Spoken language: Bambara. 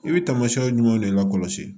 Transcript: I bɛ taamasiyɛnw de lakɔlɔsi